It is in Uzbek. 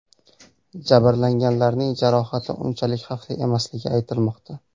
Jabrlanganlarning jarohati unchalik xavfli emasligi aytilmoqda.